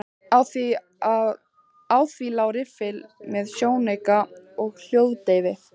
Á því lá riffill með sjónauka og hljóðdeyfi.